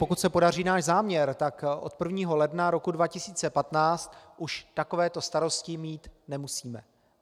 Pokud se podaří náš záměr, tak od 1. ledna roku 2015 už takovéto starosti mít nemusíme.